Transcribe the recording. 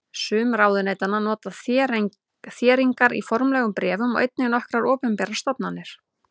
Sum ráðuneytanna nota þéringar í formlegum bréfum og einnig nokkrar opinberar stofnanir.